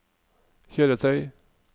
kjøretøy